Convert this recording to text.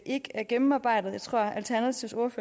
ikke er gennemarbejdet jeg tror at alternativets